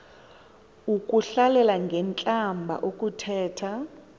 ukuhlalela ngentlamba ukuthetha